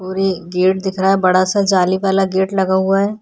और ये गेट दिख रहा है बड़ा सा जाली वाला गेट लगा हुआ है।